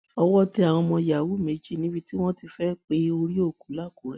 owó tẹ àwọn ọmọ yahoo méjì níbi tí wọn ti fẹẹ pe orí òkú làkúrẹ